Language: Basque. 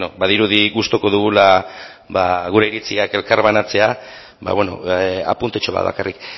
badirudi gustuko dugula gure iritziak elkarbanatzea apuntetxo bat bakarrik